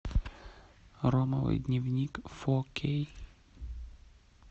ромовый дневник фо кей